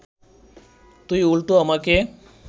তুই উল্টা আমাকে